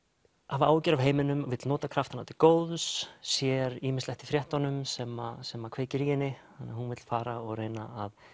hafa áhyggjur af heiminum vill nota kraftana til góðs sér ýmislegt í fréttunum sem sem kveikir í henni þannig að hún vill fara og reyna að